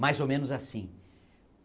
Mais ou menos assim.